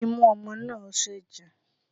Imú ọmọ náà ń ṣẹ̀jẹ̀